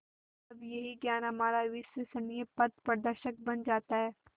तब यही ज्ञान हमारा विश्वसनीय पथप्रदर्शक बन जाता है